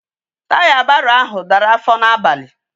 Taya barrow ahu dara afo na abali